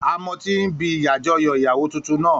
A mọtí ní ibi àjọyọ̀ ìyàwó tuntun náà